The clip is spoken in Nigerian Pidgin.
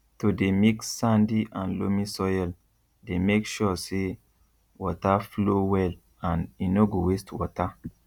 to dey mix sandy and loamy soil dey make sure say water flow well and e no go waste water